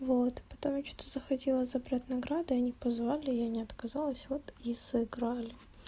вот потому что захотела забрать награду они позвали я не отказалась вот и сыграли